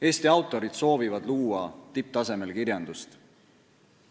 Eesti autorid soovivad luua tipptasemel kirjandust.